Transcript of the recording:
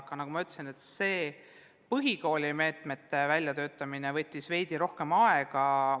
Aga nagu ma ütlesin, põhikooli meetmete väljatöötamine võttis veidi rohkem aega.